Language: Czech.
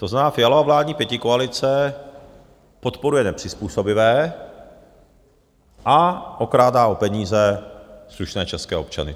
To znamená, Fialova vládní pětikoalice podporuje nepřizpůsobivé a okrádá o peníze slušné české občany.